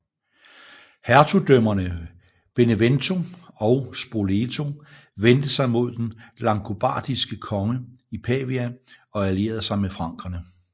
Hertugdømmerne Benevento og Spoleto vendte sig mod den langobardiske konge i Pavia og allierede sig med frankerne